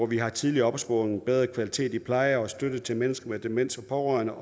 vi har tidligere opsporing bedre kvalitet i pleje støtte til mennesker med demens og pårørende